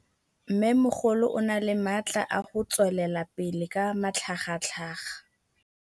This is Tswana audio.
Mmêmogolo o na le matla a go tswelela pele ka matlhagatlhaga.